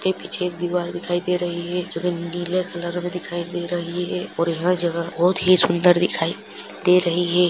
पीछे दीवार दिखाई दे रही है जोकि नीले कलर में दिखाई रही है और यह जगह बहुत ही सुंदर दिखाई दे रही हैं।